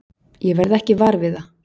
Ég verð ekki var við það.